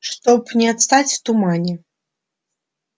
чтоб не отстать в тумане